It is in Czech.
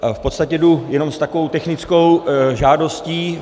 V podstatě jdu jenom s takovou technickou žádostí.